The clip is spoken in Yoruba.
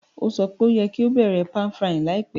Ó sọ pe o yẹ́ ki o bẹ̀rẹ̀ pan-frying láìpẹ́